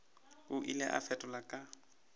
o ile a fetola ka